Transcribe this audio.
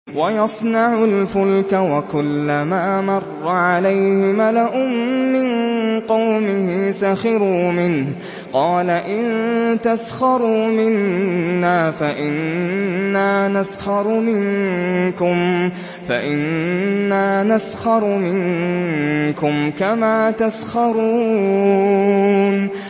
وَيَصْنَعُ الْفُلْكَ وَكُلَّمَا مَرَّ عَلَيْهِ مَلَأٌ مِّن قَوْمِهِ سَخِرُوا مِنْهُ ۚ قَالَ إِن تَسْخَرُوا مِنَّا فَإِنَّا نَسْخَرُ مِنكُمْ كَمَا تَسْخَرُونَ